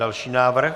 Další návrh.